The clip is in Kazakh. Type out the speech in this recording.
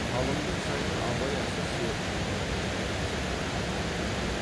қалындық жайын абай әзірше ылғи жатырқай ойлайтын